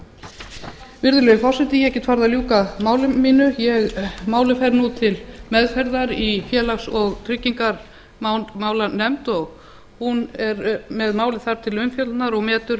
halda virðulegi forseti ég get farið að ljúka máli mínu frumvarpið fer nú til meðferðar í félags og tryggingamálanefnd sem fjallar um málið og metur